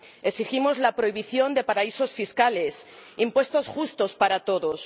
Exigimos la prohibición de paraísos fiscales, impuestos justos para todos.